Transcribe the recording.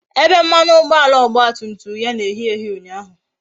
Ebe mmanụ ụgbọala ọgba tum tum ya na-eyi eyi ụnyaahụ